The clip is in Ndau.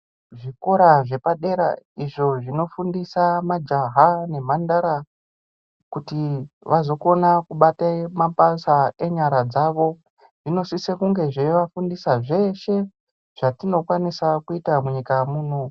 Zvikora zvepadera izvo zvinofundisa majaha nemandara kuti vazokona kubate mapasa enyara dzawo zvinosise kunge zveivafundisa zveshe zvayinosiwa kuita munyika muno.